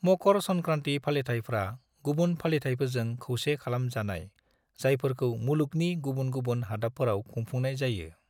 मकर संक्रांति फालिथायफ्रा गुबुन फालिथायफोरजों खौसे खालाम जानाय जायफोरखौ मुलुगनि गुबुन गुबुन हादाबफोराव खुंफुंनाय जायो।